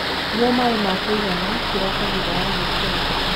Nyua maĩ ma kuigana kiroko thutha wa gukira